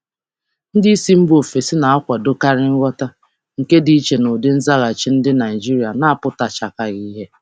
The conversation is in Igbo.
Ndị oga si mba ọzọ na-akwadokarị nghọta, nke dị iche na ụdị nzaghachi Naịjirịa na-abụghị ozugbo.